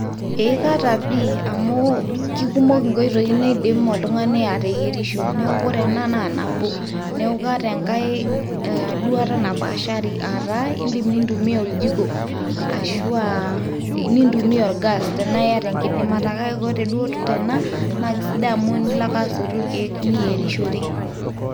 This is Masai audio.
Eeh kaata pii amu kikumok nkoitoi naidim oltung'ani ateyerisho amu ore ena naa nabo. Neeku kaata enkae ee duata napaashari aata indim nintumia oljiko ashu aa nintumia orgas enaa iyata enkidimata, kake kore duo tena naake sidai amu nilo ake asotu irkeek niyerishore.